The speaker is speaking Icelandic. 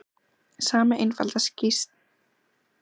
Sami einfalda skrýtlan dugði ekki lengur sama barninu.